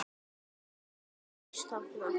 Alls gaus þarna